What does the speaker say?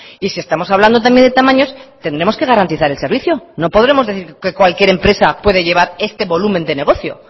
y si estamos hablando también de tamaños tendremos que garantizar el servicio no podremos decir que cualquier empresa puede llevar este volumen de negocio